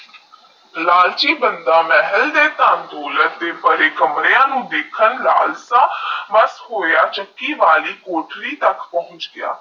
ਲਾਲਚੀ ਬੰਦੇ ਮਾਹਲ ਦੇ ਧਾਮ ਥੋਲਾਂ ਦੇ ਬੜੇ ਕਮਰੇ ਨੂੰ ਦੇਖਣ ਲਾਲਸਾ ਬੱਸ ਚੱਕੀ ਵਾਲੀ ਪੋਥਰੀ ਤਾਕ ਪੋਹਚ ਗਿਆ